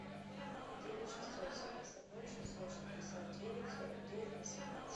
девять шестьсот семьдесят ноль шестьсот шестьдесят девять сорок девять восемнадцать